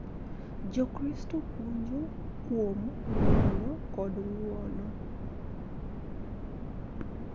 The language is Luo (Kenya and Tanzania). Jokristo puonjo kuom ng�wono kod ng�wono